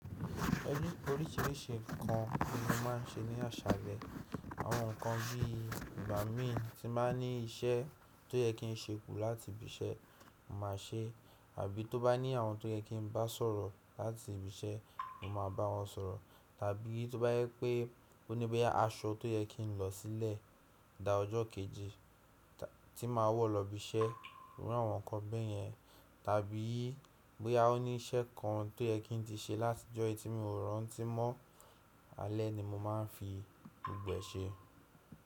Ẹni oríṣìíríṣìí nǹkan ni mo máa n ṣe ní àṣálẹ́. Àwọn nǹkan bí i ìgbámi tí báa ní iṣẹ́ tó yẹ kí n ṣekú láti ibi iṣẹ́, mo máa ṣe, àbí tó bá ní àwọn tó yẹ kí n bá sọ̀rọ̀ láti ibi iṣẹ́, mo ma bá wọn sọ̀rọ̀. Tàbí tó bá jẹpé ó ní bóyá aṣọ tó yẹ kín n lọ̀ sílẹ̀ da ọjọ́ kejì tí màá wọ̀ lọ ibi iṣẹ́. Tàbí bóyá ó ní iṣẹ́ kan tó yẹ kín n ti ṣe láti ọjọ́ yìí tí mi ò rántí mọ́ alẹ́ ni mo máa n fi gbogbo e ṣe.